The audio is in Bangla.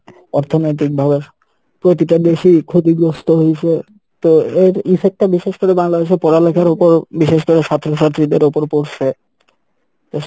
অর্থনৈতিক ভাবে প্রতিটা দেশই ক্ষতিগ্রস্থ হয়ছে তো এর effect টা বিশেষ করে বাংলাদেশে পড়ালেখার ওপর বিশেষ করে ছাত্র ছাত্রীদের ওপর পরসে, তো